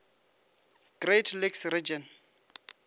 great lakes region